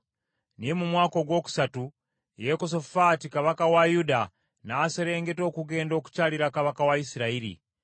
Naye mu mwaka ogwokusatu Yekosafaati kabaka wa Yuda n’aserengeta okugenda okukyalira kabaka wa Isirayiri.